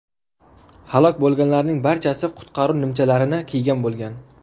Halok bo‘lganlarning barchasi qutqaruv nimchalarini kiygan bo‘lgan.